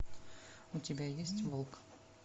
у тебя есть волк